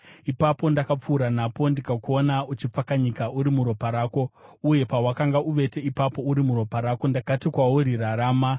“ ‘Ipapo ndakapfuura napo ndikakuona uchipfakanyika uri muropa rako, uye pawakanga uvete ipapo uri muropa rako, ndakati kwauri, “Rarama!”